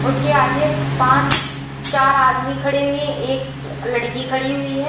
उसके आगे पांच चार आदमी खड़े हुए एक लड़की खड़ी हुई है।